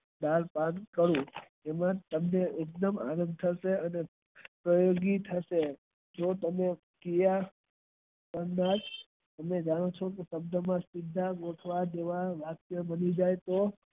ચાર પાંચ કરવું અને એમાં તમને એકદમ આનંદ થશે તેવાવાક્ય બની જાય તો